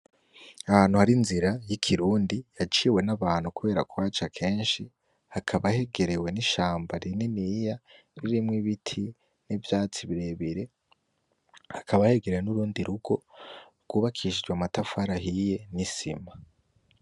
Ni ahantu hari. inzira y'ikirundi yaciwe nabantu kubera kuhaca kenshi hakaba hegerewe n'ishamba rininiya ririmwo ibiti, n'ivyatsi birebire hakaba hegerewe nurundi rugo rwubakishijwe amatafari ahiye nisima.